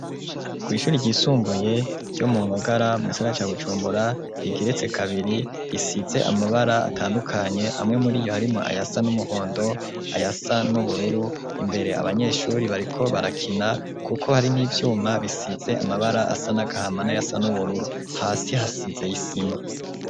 Kw'ishure ry'isumbuye ryo mugisagara ca bujumbura rigeretse kabiri risize amabara atandukanye amwe muri iyo harimwo ayasa n'umuhondo ayasa n'ubururu imbere abanyeshure bariko barakina kuko hari n'ivyuma bisize amabara asa nagahama nayasa n'ubururu hasi hasize isima.